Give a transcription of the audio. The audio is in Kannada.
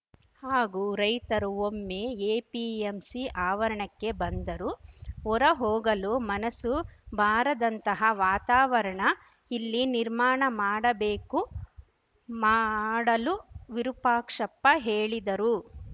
ಹಾಗೂ ರೈತರು ಒಮ್ಮೆ ಎಪಿಎಂಸಿ ಅವರಣಕ್ಕೆ ಬಂದರು ಹೊರ ಹೋಗಲು ಮನಸ್ಸು ಬಾರದಂತಹ ವಾತಾವರಣ ಇಲ್ಲಿ ನಿರ್ಮಾಣ ಮಾಡಬೇಕು ಮಾಡಲು ವಿರೂಪಾಕ್ಷಪ್ಪ ಹೇಳಿದರು